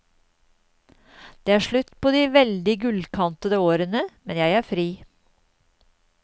Det er slutt på de veldig gullkantede årene, men jeg er fri.